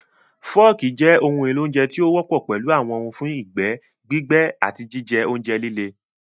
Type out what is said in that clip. Forks jẹ́ ohun èlò oúnjẹ tí ó wọ́pọ̀ pẹ̀lú àwọn ohùn fún ìgbẹ́, gbígbé, àti jíjẹ oúnjẹ líle.